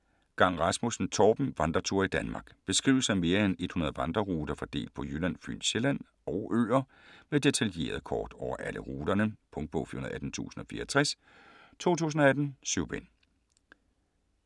Gang Rasmussen, Torben: Vandreture i Danmark Beskrivelser af mere end 100 vandreruter fordelt på Jylland, Fyn, Sjælland og øer med detaljerede kort over alle turene. Punktbog 418064 2018. 7 bind.